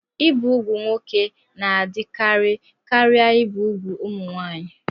Ibi úgwù nwoke na-adịkarị karịa ibi úgwù ụmụ nwaanyị.